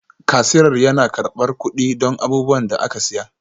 Kasirar yana karɓar kuɗi don abubuwan da aka saya